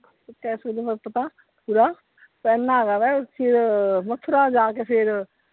ਪਹਿਲਾਂ ਹੈਗਾ ਵਾ ਮਥੁਰਾ ਜਾ ਕੇ ਫਿਰ।